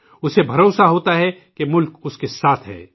اسے بھروسہ ہوتا ہے کہ ملک اسکے ساتھ ہے